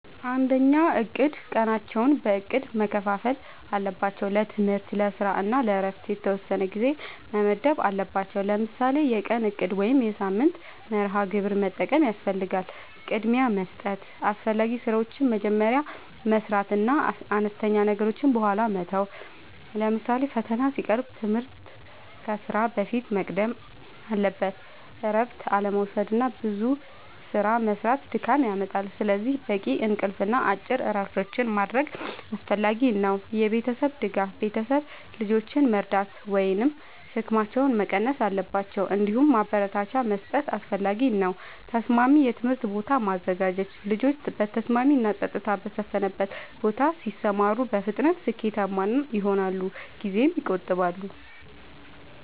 ፩. እቅድ፦ ቀናቸውን በእቅድ መከፋፈል አለባቸው። ለትምህርት፣ ለስራ እና ለእረፍት የተወሰነ ጊዜ መመደብ አለባቸዉ። ለምሳሌ የቀን እቅድ ወይም የሳምንት መርሃ ግብር መጠቀም ያስፈልጋል። ፪. ቅድሚያ መስጠት፦ አስፈላጊ ስራዎችን መጀመሪያ መስራት እና አነስተኛ ነገሮችን በኋላ መተው። ለምሳሌ ፈተና ሲቀርብ ትምህርት ከስራ በፊት መቅደም አለበት። ፫. እረፍት አለመዉሰድና ብዙ ስራ መስራት ድካም ያመጣል። ስለዚህ በቂ እንቅልፍ እና አጭር እረፍቶች ማድረግ አስፈላጊ ነው። ፬. የቤተሰብ ድጋፍ፦ ቤተሰብ ልጆችን መርዳት ወይም ሸክማቸውን መቀነስ አለባቸው። እንዲሁም ማበረታቻ መስጠት አስፈላጊ ነው። ፭. ተስማሚ የትምህርት ቦታ ማዘጋጀት፦ ልጆች በተስማሚ እና ጸጥታ በሰፈነበት ቦታ ሲማሩ በፍጥነት ስኬታማ ይሆናሉ ጊዜም ይቆጥባሉ።